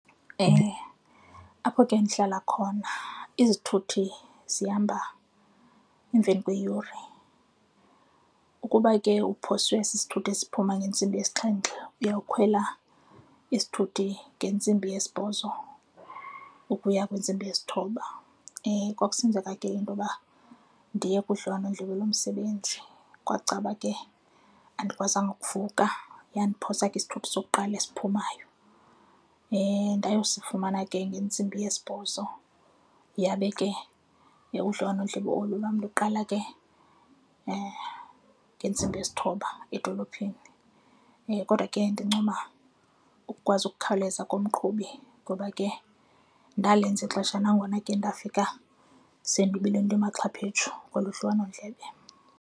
Apho ke ndihlala khona izithuthi zihamba emveni kweyure, ukuba ke uphoswe sisithuthi esiphuma ngentsimbi yesixhenxe, uyawukhwela isithuthi ngentsimbi yesibhozo ukuya kwintsimbi yesithoba. Kwakusenzeka ke intoba ndiye kudliwanondlebe lomsebenzi, kwakucaba ke andikwazanga ukuvuka yandiphosa ke isithuthi sokuqala esiphumayo. Ndayosifumana ke ngentsimbi yesibhozo yabe ke udliwanondlebe olu lwam luqala ke ngentsimbi yesithoba edolophini. Kodwa ke ndincoma ukukwazi ukukhawuleza komqhubi ngoba ke ndalenza ixesha nangona ke nto ndafika sendibile ndimaxhapheshu koloo dliwanondlebe.